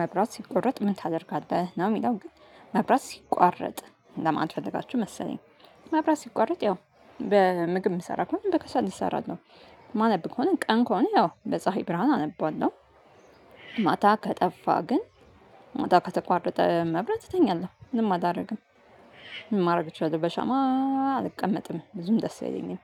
መብራት ሲቆረጥ ምን ታደርጋለህ? ነው የሚለው ግን መብራት ሲቋረጥ ለማለት ፈልጋችሁ መሰለኝ መብራት ሲቋረጥ ያው በምግብ የምሰራ ከሆነ በከሰል እሰራለሁ። ማነብ ከሆነ ቀን ከሆነ ያው በፀሀይ ብርሃን አነባለው። ማታ ከጠፋ ግን ማታ ከተቋረጠ መብራት እተኛለሁ ምንም አላደርግም። ምን ማድረግ እችላለሁ በሻማ። አልቀመጥም ብዙም ደስ አይለኝም።